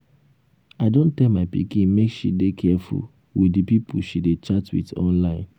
i don tell my pikin make she dey careful with the people she dey chat with online